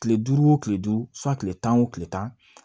Kile duuru wo kile duuru kile tan wo kile tan